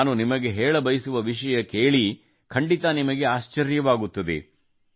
ನಾನು ನಿಮಗೆ ಹೇಳಬಯಸುವ ವಿಷಯ ಕೇಳಿ ಖಂಡಿತ ನಿಮಗೆ ಆಶ್ಚರ್ಯವಾಗುತ್ತದೆ